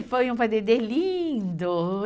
É, foi um padedê lindo.